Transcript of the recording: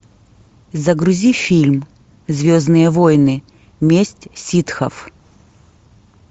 загрузи фильм звездные войны месть ситхов